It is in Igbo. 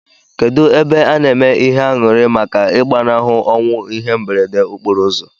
Kedu ebe ana eme ihe anyuri maka igbanahu onwu ihe mberede okporo uzọ?